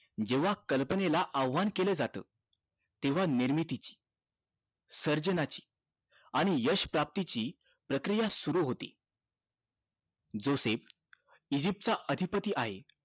जेंव्हा कल्पनेला आवाहन केल जात तेंव्हा निर्मितीची सर्जनाची आणि यश प्राप्ती ची प्रक्रिया सुरु होते जोसेफ इजिप्त चा अधिपती आहे